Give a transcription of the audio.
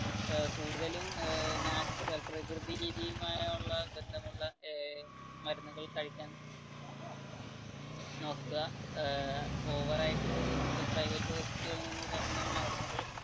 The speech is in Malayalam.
ഏർ കൂടുതലും പ്രകൃതി രീതിയുമായി ബന്ധമുള്ള മരുന്നുകൾ കഴിക്കാൻ നോക്കുക ഓവർ ആയിട്ട് ഇപ്പ private hospital കളിൽ നിന്ന് തരുന്ന മരുന്നുകൾ